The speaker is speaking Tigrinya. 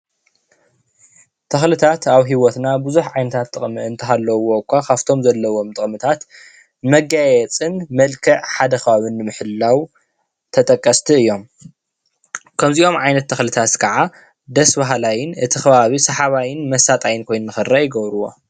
ተክልታት አብ ሂወትና ብዝሕ ዓይነታተ ጥቅምን እንተሃለዉ እኳ ካበቶም ዘለዎዎ ጥቅምታት መጋያየፅን መልክዕ ሓደ ከባቢ ንምሕላው ተጠቀስቲ እዩም፡፡ ከምዚኦም ዓይነት ተክልታተ ከዓ ደስ በሃላይን እቲ ከባቢ ሳሓባየን መሳጣይን ኮይኑ ንከረእ ይገብርዎ፡፡